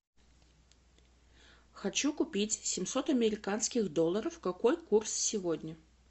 хочу купить семьсот американских долларов какой курс сегодня